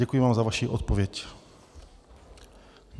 Děkuji vám za vaši odpověď.